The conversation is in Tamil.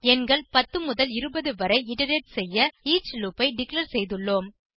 எண்கள் 10 முதல் 20 வரை இட்டரேட் செய்ய ஈச் லூப் ஐ டிக்ளேர் செய்துள்ளோம்